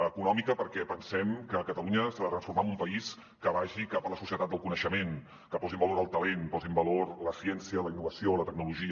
econòmica perquè pensem que catalunya s’ha de transformar en un país que vagi cap a la societat del coneixement que posi en valor el talent posi en valor la ciència la innovació la tecnologia